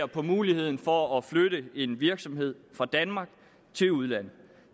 på muligheden for at flytte en virksomhed fra danmark til udlandet